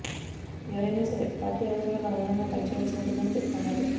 ఎవరైనా సరే పార్టీ అవసరాలకు అనుగుణంగా పని చేయాల్సి ఉంటుందని పేర్కొన్నారు